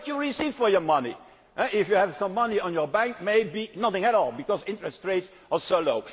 investors. What do you receive for your money today? If you have some money in your bank, maybe nothing at all, because interest rates